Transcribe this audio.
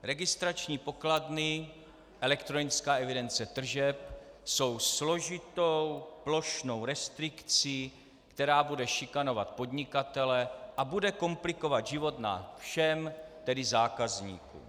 Registrační pokladny, elektronická evidence tržeb, jsou složitou plošnou restrikcí, která bude šikanovat podnikatele a bude komplikovat život nám všem, tedy zákazníkům.